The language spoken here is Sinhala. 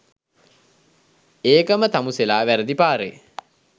ඒකම තමුසෙලා වැරදි පාරෙ